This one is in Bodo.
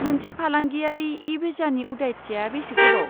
मोनसे फालांगियारि इ भिसानि उदायथिया बेसे गोबाव?